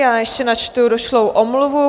Já ještě načtu došlou omluvu.